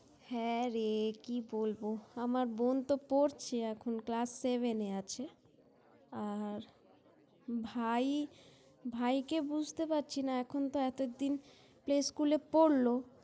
হ্যাঁ রে কি বলব? আমার বোন তো পড়ছে এখন Class Seven -এ আছে। আর ভাই, ভাইকে বুঝতে পারছি না এখন তো এতদিন এই School -এ পড়ল।